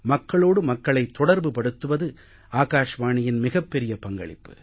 மக்களோடு மக்களை தொடர்புப்படுத்துவது ஆகாஷ்வாணியின் மிகப் பெரிய பங்களிப்பு